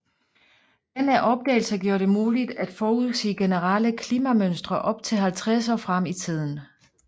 Denne opdagelse gjorde det muligt at forudsige generelle klimamønstre op til 50 år frem i tiden